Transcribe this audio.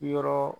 Yɔrɔ